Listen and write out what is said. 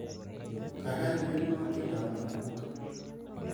Kaikai urerenwo tiendoab Nakumukka